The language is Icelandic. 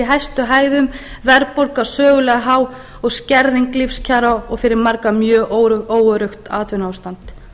hæstu hæðum verðbólga sögulega há og skerðing lífskjara og fyrir marga mjög óöruggt atvinnuástand